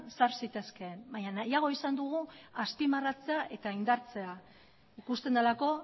sar zitezkeen baino nahiago izan dugu azpimarratzea eta indartzea ikusten delako